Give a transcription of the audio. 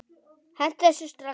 Hentu þessu strax!